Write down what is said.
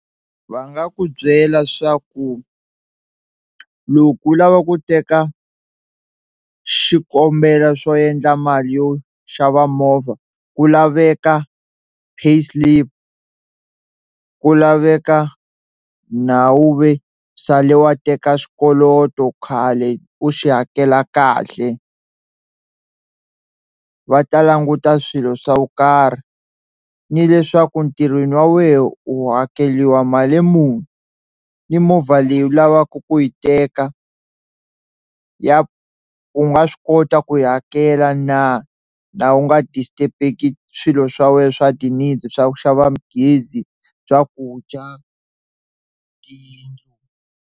Va nga ku byela swa ku loko u lava ku teka xikombelo swo endla mali yo xava movha ku laveka pay slip, ku laveka nhawu ve sale wa teka xikoloto khale u xi hakela kahle va ta languta swilo swa vu karhi ni leswaku ntirhweni wa wehe u hakeliwa mali muni, ni movha leyi u lavaka ku yi teka ya u nga swi kota ku yi hakela na laha u nga disturb-eki swilo swa wena swa ti-needs swa ku xava gezi, swakudya, tiyindlu.